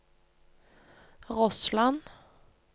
Rossland